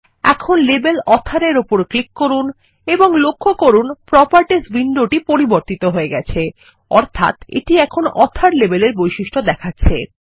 এখন label author এর উপর ক্লিক করুন লক্ষ্য করুন প্রোপার্টিস উইন্ডোটি পরিবর্তিত হয়ে গেছে অর্থাত এটিএখন অথর লেবেলেরবৈশিষ্ট্য দেখাচ্ছে